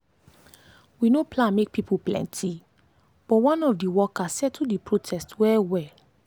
we no plan make people plenty but one of the worker settle the protest well well.